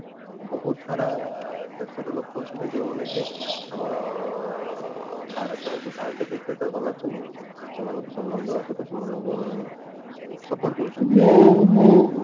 ବହୁତ ସାରା ଦେଶ ର ଲୋକ ଅଛନ୍ତି ଯୋଉ ମାନେ କି ଆମର ଭାରତ ରେ ଭାରତୀୟ Cricketer ମାନେ ଅଛନ୍ତି ସେମାନଙ୍କୁ ସମ୍ମାନ ଦେବା ସହିତ ସେମାନଙ୍କୁ ମାନେ support କରୁଛନ୍ତି